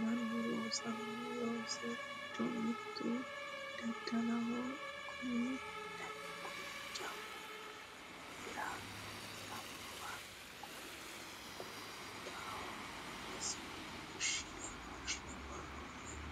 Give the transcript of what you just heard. mannu loosanno loosi giddo mittu daddaloho kunino jawa hira hirranniwa qunxaho wonshine worroonnire